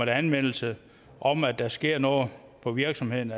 anmeldelse om at der sker noget på virksomheden